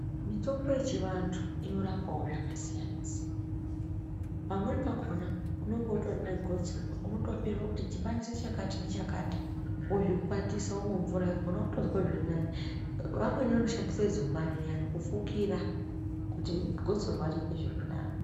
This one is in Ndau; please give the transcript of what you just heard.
Mitombo yechivantu inorapawo zvakasiyana siyana. Pamweni pakona, unenge utori negosorwa unotobhuyirwa kuti dhibanise chakati nechakati wozvikwatisa womwa mvura yakona unotozwe zviri nani. Vamweni vanoshandise zumbani riyani kufukira kuti gosorwa riite zviri nani.